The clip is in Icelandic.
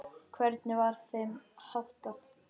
Hvernig var þeim háttað?